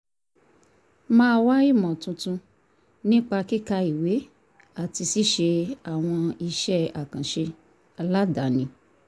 máa wá ìmọ̀ tuntun nípa kíka ìwé àti ṣíṣe àwọn iṣẹ́ àkànṣe aládani